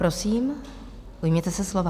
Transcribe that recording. Prosím, ujměte se slova.